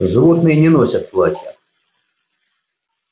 животные не носят платья